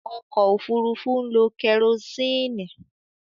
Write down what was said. Ọkọ̀ òfurufú ń lo kẹrosíìnì.